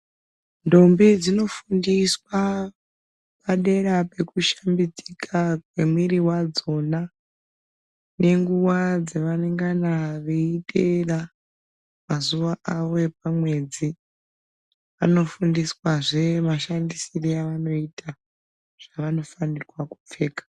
Ntombi dzinofundiswa padera peku shambidzika kwemiiri wadzona nenguva dzaningana veyiiteera mazuwa avo epamwedzi . Vanofundiswa zve mashandisire avanoita zvavanofanirwa kupfeka.